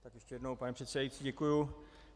Tak ještě jednou, pane předsedající, děkuji.